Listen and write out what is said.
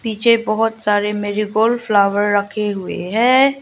पीछे बहुत सारे मेरी गोल्ड फ्लावर रखें हुये है।